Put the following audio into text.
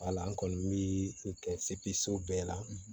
Wala n kɔni bɛ kɛ so bɛɛ la